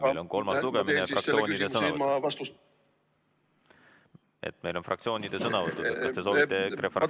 Meil on kolmas lugemine ja fraktsioonide esindajate sõnavõtud.